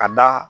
Ka da